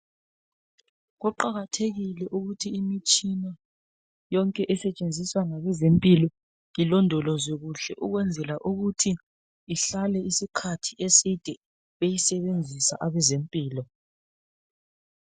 Kuqakathekile ukuthi imitshina yonke esentshenziswa ngabezempilo ,ilondolozwe kuhle ukwenzela ukuthi ihlale isikhathi eside beyisebenzisa abezempilo.